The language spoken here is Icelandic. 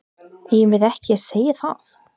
Eigum við ekki að segja það?